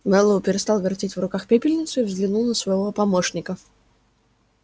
мэллоу перестал вертеть в руках пепельницу и взглянул на своего помощника